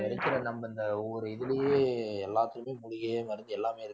இருக்கிற நம்ம இந்த ஒவ்வொரு இதுலயே எல்லாத்துக்குமே மூலிகையே மருந்து எல்லாமே இருக்கு